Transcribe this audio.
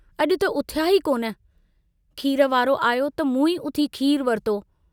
अजु त उथिया ई कोन, खीर वारो आयो त मूं ई उथी खीरु वरितो।